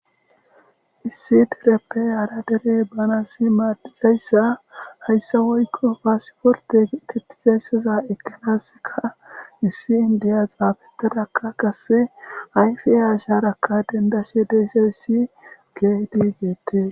issi dereppe hara dere banasi maadizayssa hayssa woykko faasiforte itettizayssaza ekkanaska issi indiya xaabetadakka qase ayfiey asharakka dendashe dizays kehipe bettes